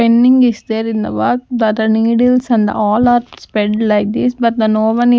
is there in the wall that other needles and all are spread like this but the no one is--